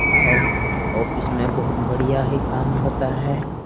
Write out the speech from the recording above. और ऑफिस में बहुत बढ़िया ही काम होता है।